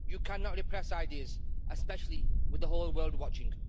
You cannot repress ideas, especially with the whole world watching.